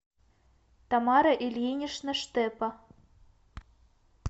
тамара ильинична штепа